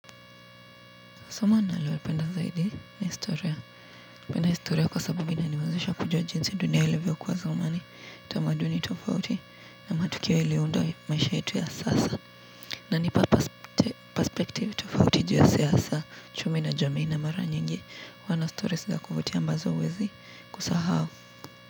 Somo nalopenda zaidi ni historia. Napenda historia kwa sababu inaniwezesha kujua jinsi dunia ilivyokuwa zamani. Tamaduni tofauti, na matukio yaliyounda maisha yetu ya sasa. Inanipa perspective tofauti juu ya siasa. Uchumi na jamii na mara nyingi. Huwa na stories za kuvutia ambazo huwezi kusahau.